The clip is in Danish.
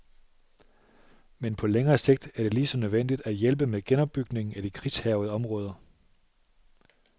Men på længere sigt er det lige så nødvendigt at hjælpe med genopbygningen af de krigshærgede områder.